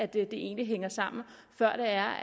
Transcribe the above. det egentlig hænger sammen før